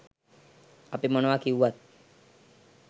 අපි මොනවා කිව්වත්